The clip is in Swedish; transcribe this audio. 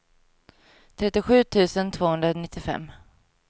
trettiosju tusen tvåhundranittiofem